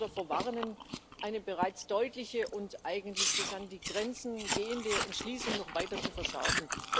Ich möchte nur davor warnen, eine bereits deutliche und eigentlich bis an die Grenzen gehende Entschließung noch weiter zu verschärfen.